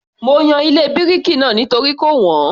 Mo yan ilé bíríkì náà nítorí kò wọ́n